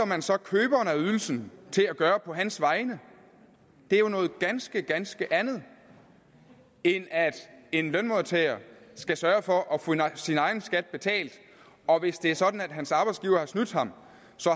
man så køberen af ydelsen til at gøre på hans vegne det er jo noget ganske ganske andet end at en lønmodtager skal sørge for at få sin egen skat betalt og hvis det er sådan at hans arbejdsgiver har snydt ham